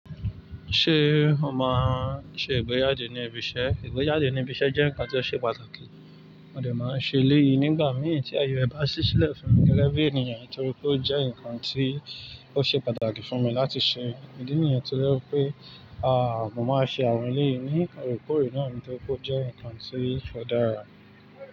Ṣé ọma ṣe ìgbéjade ní ibi iṣẹ́? Ìgbéjade ní ibi iṣẹ́ jẹ́ ǹkan tó ṣe pàtàkì. Mo de máa ṣe eléyìi nígbà mìí tí ayo ẹ bá ṣí sílẹ̀ fún gégébì ènìyàn. Nítorí pé ó jẹ́ ǹkan tí ó ṣe pàtàkì fún mi láti ṣe. Ìdí nìyẹn tí ó lẹ́wọ̀ pé, a, mo máa ṣe àwọn eléyìí ní orékọrè náà nítorí pé ó jẹ́ ǹkan tí ó dára.